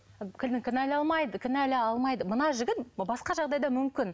алмайды мына жігіт басқа жағдайда мүмкін